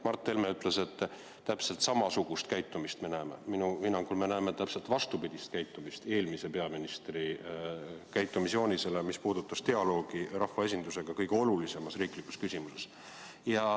Mart Helme ütles, et me näeme täpselt samasugust käitumist, aga minu hinnangul me näeme täpselt vastupidist käitumist eelmise peaministri käitumisjoonisele, mis puudutab dialoogi rahvaesindusega kõige olulisemas riiklikus küsimuses.